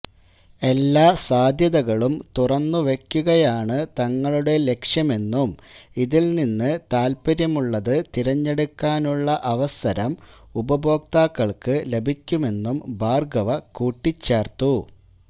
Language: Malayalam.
എല്ലാ സാധ്യതകളും തുറന്നുവയ്ക്കുകയാണ് തങ്ങളുടെ ലക്ഷ്യമെന്നും ഇതില് നിന്ന് താത്പര്യമുള്ളത് തുരഞ്ഞെടുക്കാനുള്ള അവസരം ഉപഭോക്താക്കള്ക്ക് ലഭിക്കുമെന്നും ഭാര്ഗവ കൂട്ടിച്ചേര്ത്തു